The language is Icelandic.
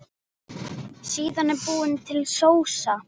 Síðan er búin til sósa.